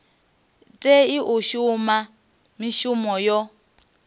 tei u shuma mishumo yo